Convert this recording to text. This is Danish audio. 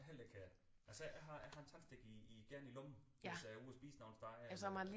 Heller ikke her altså jeg har jeg har en tandstik i igen i lommen hvis jeg er ude at spise nogle steder eller